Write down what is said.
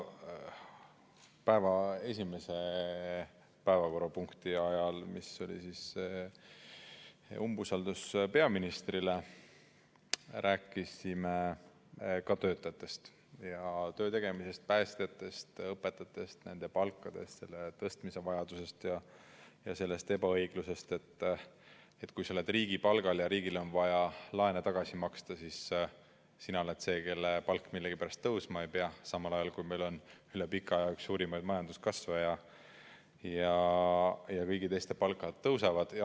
Päeva esimese päevakorrapunkti ajal, mis oli umbusalduse avaldamine peaministrile, rääkisime ka töötajatest ja töö tegemisest, päästjatest, õpetajatest, nende palgast, selle tõstmise vajadusest ja sellest ebaõiglusest, et kui sa oled riigipalgal ja riigil on vaja laene tagasi maksta, siis sina oled see, kelle palk millegipärast tõusma ei pea, samal ajal, kui meil on üle pika aja üks suurimaid majanduskasve ja kõigi teiste palk tõuseb.